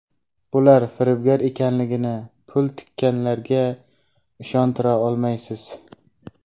bular firibgar ekanligini pul tikkanlarga ishontira olmaysiz.